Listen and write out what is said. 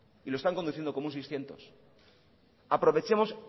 y lo están conduciendo como un seiscientos aprovechemos